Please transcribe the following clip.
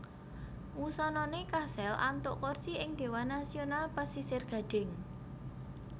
Wusanané kasil antuk kursi ing Dhéwan Nasional Pasisir Gadhing